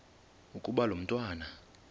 ukuba lo mntwana